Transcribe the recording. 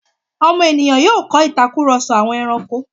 ọmọ ènìyàn yóò kọ́ ìtakùrọ̀sọ àwọn ẹrankó.